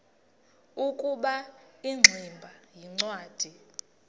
ukuba ingximba yincwadi